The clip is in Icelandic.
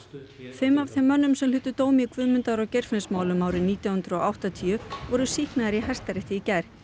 fimm af þeim mönnum sem hlutu dóm í Guðmundar og Geirfinnsmálum árið nítján hundruð og áttatíu voru sýknaðir í Hæstarétti í gær